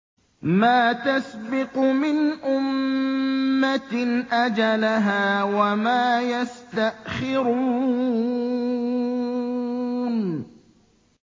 مَا تَسْبِقُ مِنْ أُمَّةٍ أَجَلَهَا وَمَا يَسْتَأْخِرُونَ